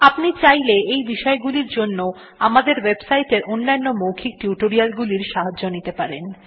আপনি চাইলে এই বিষয় গুলির জন্য আমাদের ওয়েবসাইটের অন্যান্য মৌখিক টিউটোরিয়ালগুলির সাহায্য নিতে পারেন